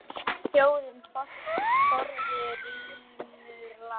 Þjóðin forðum rímur las.